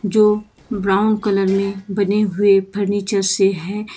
जो brown colour में बने हुए फर्नीचर से हैं।